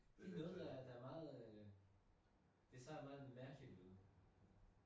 Det noget der der meget øh det ser meget mærkeligt ud